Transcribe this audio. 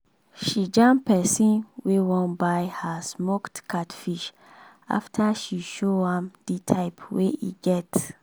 she jam pesin wey wan buy her smoked catfish after she show am di type wey e get.